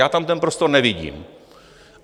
Já tam ten prostor nevidím.